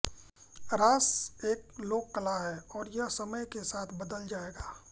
रास एक लोक कला है और यह समय के साथ बदल जाएगा